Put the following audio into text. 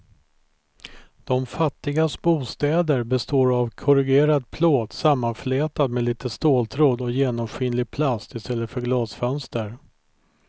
De fattigas bostäder består av korrugerad plåt sammanflätad med lite ståltråd och genomskinlig plast i stället för glasfönster.